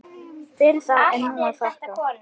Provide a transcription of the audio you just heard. Fyrir það er nú þakkað.